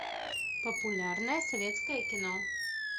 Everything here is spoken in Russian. популярное советское кино